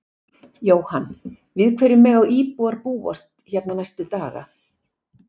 Jóhann: Við hverju mega íbúar búast hérna næstu daga?